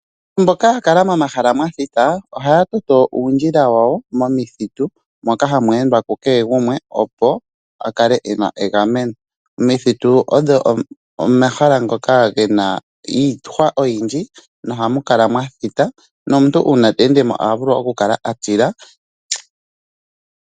Mboka yakala momahala mwathita ohaya toto uundjila wawo momithitu moka hamu endwa kukehe gumwe opo a kale ena egameno . Omithitu odho omahala ngoka gena iihwa oyindji nohamu kala mwathita nomuntu uuna ta ende mo oha vulu okukala atila.